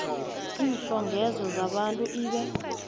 iintlhogeko zabantu ibe